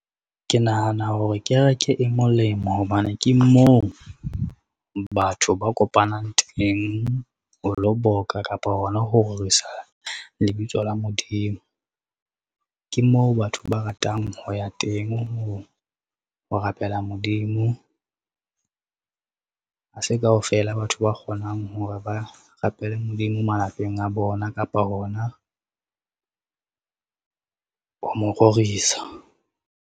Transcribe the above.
Ke nahana hore kereke e molemo hobane ke moo, batho ba kopanang teng ho lo boka kapa hona ho rorisa lebitso la Modimo. Ke moo batho ba ratang ho ya teng ho, rapela Modimo, ha se kaofela batho ba kgonang hore ba rapele Modimo malapeng a bona kapa hona ho mororisa.